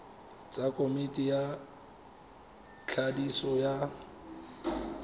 tsa komiti ya thadiso ya